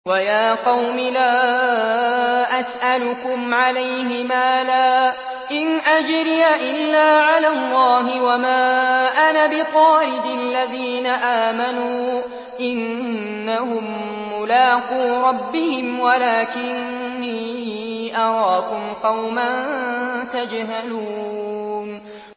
وَيَا قَوْمِ لَا أَسْأَلُكُمْ عَلَيْهِ مَالًا ۖ إِنْ أَجْرِيَ إِلَّا عَلَى اللَّهِ ۚ وَمَا أَنَا بِطَارِدِ الَّذِينَ آمَنُوا ۚ إِنَّهُم مُّلَاقُو رَبِّهِمْ وَلَٰكِنِّي أَرَاكُمْ قَوْمًا تَجْهَلُونَ